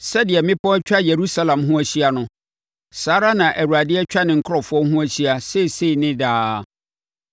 Sɛdeɛ mmepɔ atwa Yerusalem ho ahyia no, saa ara na Awurade atwa ne nkurɔfoɔ ho ahyia seesei ne daa.